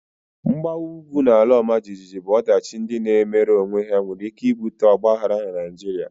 Mgbawa ugwu na ala ọmajiji bụ ọdachi ndị na-emere onwe ha nwere ike ibute Ọgba aghara na Naịjirịa